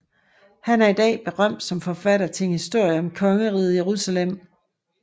Han er i dag berømt som forfatter til en historie om Kongeriget Jerusalem